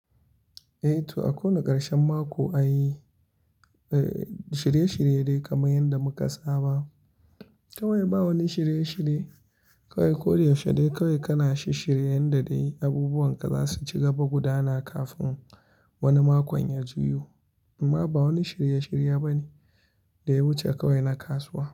Eh to, a kowane karshen mako ai, eh, shirye-shirye dai kamar yadda muka saba. Kawai ba wani shirye-shirye, kawai koyaushe dai kawai kana shi shirye yanda dai abubuwan ka za su ci gaba gudana kafin wani makon ya juyo. Amma ba wani shirye-shirye bane da ya wuce kawai na kasuwa.